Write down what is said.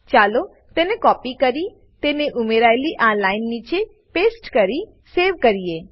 ચાલો તેને કોપી કરી તેને ઉમેરાયેલી આ લાઈન નીચે પેસ્ટ કરી સેવ કરીએ